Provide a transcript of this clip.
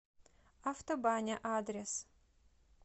автобаня адрес